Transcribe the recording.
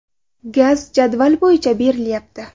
Gaz jadval bo‘yicha berilyapti.